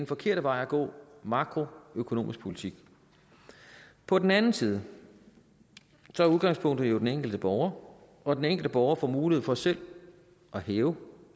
forkerte vej at gå makroøkonomisk politik på den anden side er udgangspunktet jo den enkelte borger og den enkelte borger får mulighed for selv at hæve